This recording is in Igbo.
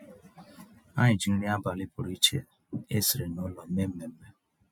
Ànyị́ jí nrí àbálị́ pụ̀rụ̀ iche ésìrí nụ́lọ̀ méé mmèmme.